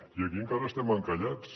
i aquí encara estem encallats